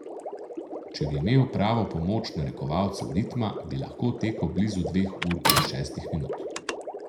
Če bi imel pravo pomoč narekovalcev ritma, bi lahko tekel blizu dveh ur in šestih minut.